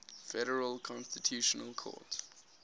federal constitutional court